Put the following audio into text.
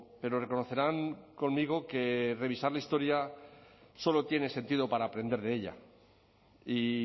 pero reconocerán conmigo que revisar la historia solo tiene sentido para aprender de ella y